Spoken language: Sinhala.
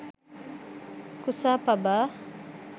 kusa paba